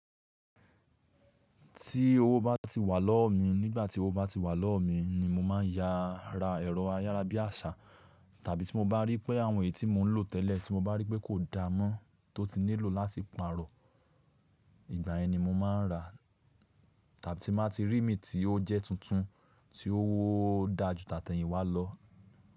Tí owó bá ti wà lọ́wọ́ mi, nígbà tí owó bá ti wà lọ́wọ́ mi ni mo máa yá, ra ẹ̀rọ ayárábiàṣà. Tàbí tí mo bá rí pé àwọn èyí tí mò ń lò tẹ́lẹ̀ tí mo bá rí pé kò dáa mọ́ tó ti nílò láti pààrọ̀, ìgbà yen ni mo máa ń rà. Tàbí tí n baa ti rí míì tí ó jẹ́ tuntun tí ó dá ju tàtẹ̀yìnwá lọ.